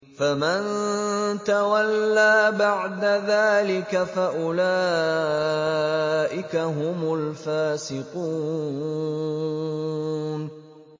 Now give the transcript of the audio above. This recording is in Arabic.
فَمَن تَوَلَّىٰ بَعْدَ ذَٰلِكَ فَأُولَٰئِكَ هُمُ الْفَاسِقُونَ